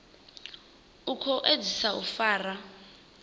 u khou edzisa u fara